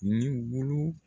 Ni